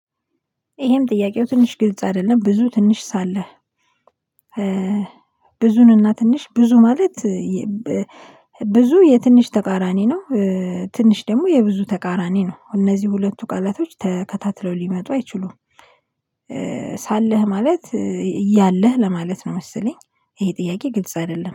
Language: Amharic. ይሄም ጥያቄው ትንሽ ግልጽ አይደለም ብዙ ትንሽ ሳለህ ብዙንና ትንሽ ብዙ ማለት ብዙ የትንሽ ተቃራኒ ነው። ትንሽ ደግሞ የብዙ ተቃራኒ ነው። እነዚህ ሁለቱ ቃላቶች ተከታትለው ሊመጡ አይችሉም። ሳለህ ማለት እያለህ ለማለት ነው መሰለኝ። ይሄ ጥያቄ ግልጽ አይደለም